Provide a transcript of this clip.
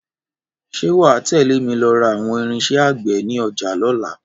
Ṣé wà á tẹ̀lé mi lọ ra àwọn irinṣẹ́ àgbè ní ọjà lọ́la